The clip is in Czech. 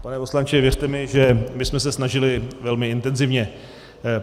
Pane poslanče, věřte mi, že my jsme se snažili velmi intenzivně.